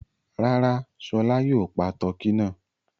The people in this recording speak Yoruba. Rárá, Ṣọlá yóò pa tọkí náà.